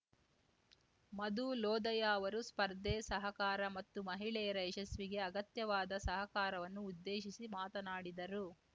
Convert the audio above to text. ಮಧು ಲೊದಯಾ ಅವರು ಸ್ಪರ್ಧೆ ಸಹಕಾರ ಮತ್ತು ಮಹಿಳೆಯರ ಯಶಸ್ಸಿಗೆ ಅಗತ್ಯವಾದ ಸಹಕಾರವನ್ನು ಉದ್ದೇಶಿಸಿ ಮಾತನಾಡಿದರು